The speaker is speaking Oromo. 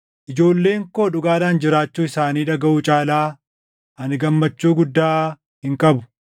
Ijoolleen koo dhugaadhaan jiraachuu isaanii dhagaʼuu caalaa ani gammachuu guddaa hin qabu.